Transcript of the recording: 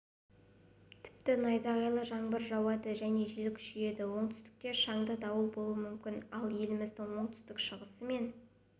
тіпті найзағайлы жаңбыр жауады және жел күшейеді оңтүстікте шаңды дауыл болуы мүмкін ал еліміздің оңтүстік-шығысы мен